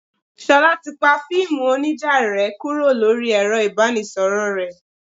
Ṣolá ti pa fíìmù onija rẹ kúrò lórí ẹ̀rọ ibanisoro rẹ.